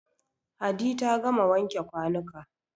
Hadi ta gama wanke kwanuka.